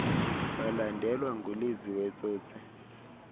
walandelwa nguliziwe tsotsi